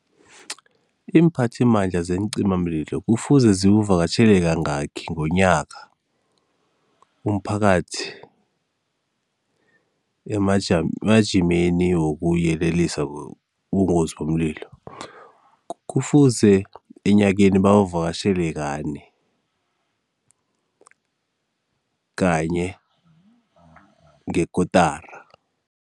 Iimphathimandla zeencimamlilo kufuze ziwuvakatjhele kangaki ngonyaka umphakathi emajimeni wokuyelelisa ngobungozi bomlilo? Kufuze enyakeni bawuvakatjhele kane kanye ngekotara.